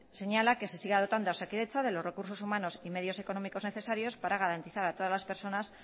señala que se siga dotando a osakidetza de los recursos humanos y medios económicos necesarios para garantizar a todas las personas